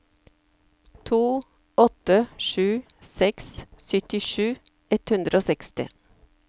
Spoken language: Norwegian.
to åtte sju seks syttisju ett hundre og seksti